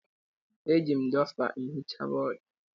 Eji m dọsta ehicha bọọdụ